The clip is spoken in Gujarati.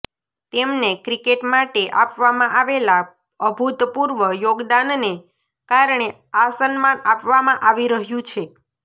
તેમને ક્રિકેટ માટે આપવામાં આવેલા અભૂતપૂર્વ યોગદાનને કારણે આ સન્માન આપવામાં આવી રહ્યું છે